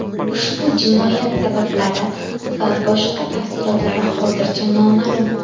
Ushbu jinoyat sabablari va boshqa tafsilotlari hozircha noma’lum.